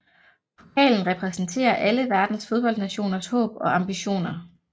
Pokalen repræsenterer alle verdens fodboldnationers håb og ambitioner